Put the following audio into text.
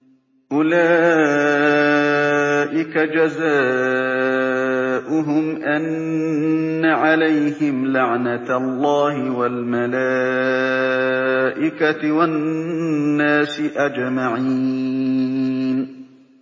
أُولَٰئِكَ جَزَاؤُهُمْ أَنَّ عَلَيْهِمْ لَعْنَةَ اللَّهِ وَالْمَلَائِكَةِ وَالنَّاسِ أَجْمَعِينَ